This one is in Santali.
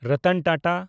ᱨᱚᱛᱚᱱ ᱴᱟᱴᱟ